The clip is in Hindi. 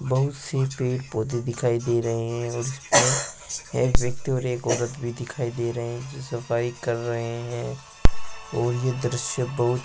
बहुत सी पेड़-पौधे दिखाई दे रहे हैं और यहां एक व्यक्ति और एक औरत भी दिखाई दे रहे हैं जो सफाई कर रहे हैं और ये दृश्य बहुत --